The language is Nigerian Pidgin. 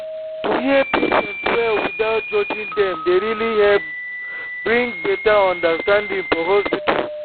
to hear patients well without judging dem dey really help bring better understanding for hospital.